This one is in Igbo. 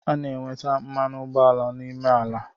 A na enweta mmanụ ụgbọala n’ime ala